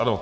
Ano.